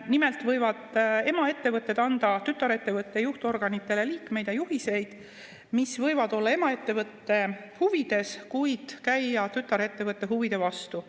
Nimelt võivad emaettevõtted anda tütarettevõtte juhtorganite liikmetele juhiseid, mis võivad olla emaettevõtte huvides, kuid käia tütarettevõtte huvide vastu.